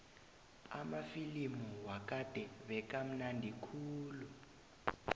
amafilimu wakade bekamnandi khulu